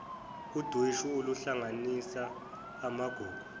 udweshu oluhlanganisa amagugu